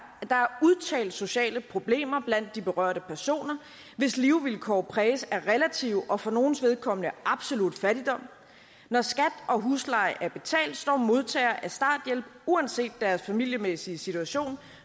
at der er udtalte sociale problemer blandt de berørte personer hvis levevilkår præges af relativ og for nogles vedkommende absolut fattigdom når skat og husleje er betalt står modtagere af starthjælp uanset deres familiemæssige situation